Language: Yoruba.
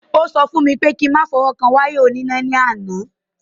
Ó sọ fún mi pé kí n má fọwọ́ kan wáyà oníná ni àná.